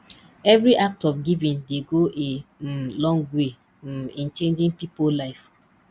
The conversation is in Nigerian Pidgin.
evri act of giving dey go a um long way um in changin pipo life